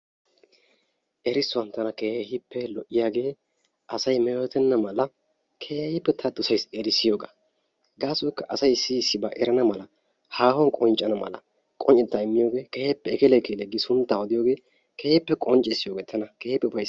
Erissuwan tana keehippe lo''iyagee asay metootenna mala keehippe ta dosays erissiyogaa. Gaasoykka asay issi issibaa erana mala haahuwan qonccana mala immiyogee keehippe ekele ekelee gi sunttaa odiyogee keehippe qonccissiyogee tana keehippe ufayssees.